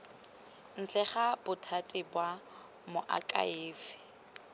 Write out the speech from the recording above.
ntle ga bothati ba moakhaefe